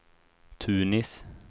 Tunis